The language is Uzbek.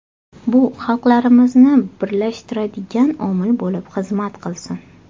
Bu xalqlarimizni birlashtiradigan omil bo‘lib xizmat qilsin.